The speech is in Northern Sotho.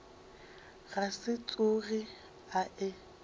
ka se tsoge a e